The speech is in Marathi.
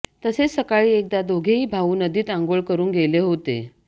तसेच सकाळी एकदा दोघेही भाऊ नदीत अंघोळ करून गेले होते